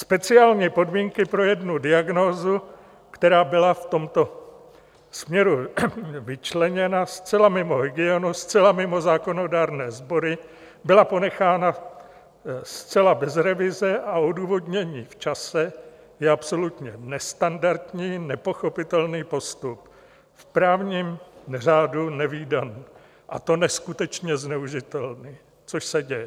Speciální podmínky pro jednu diagnózu, která byla v tomto směru vyčleněna zcela mimo hygienu, zcela mimo zákonodárné sbory, byla ponechána zcela bez revize a odůvodnění v čase, je absolutně nestandardní, nepochopitelný postup, v právním řádu nevídaný, a to neskutečně zneužitelný, což se děje.